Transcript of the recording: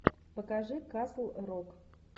покажи касл рок